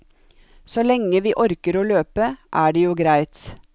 Så lenge vi orker å løpe, er det jo greit.